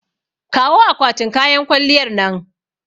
Kawo akwatin kayan kwalliyar nan.